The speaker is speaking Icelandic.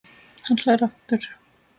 Hann hlær aftur.